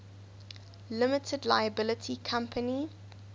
limited liability company